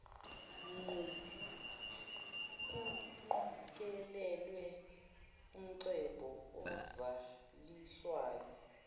nkuqokelelwe umcebo ozaliswayo